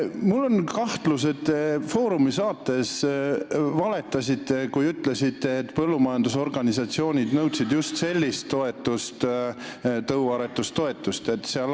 Mul on kahtlus, et te "Foorumi" saates valetasite, kui ütlesite, et põllumajandusorganisatsioonid nõudsid just sellist tõuaretustoetust.